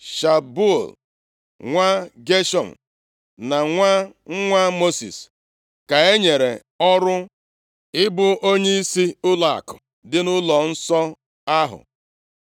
Shubuel nwa Geshọm, na nwa nwa Mosis ka e nyere ọrụ ịbụ onyeisi ụlọakụ dị nʼụlọnsọ ahụ.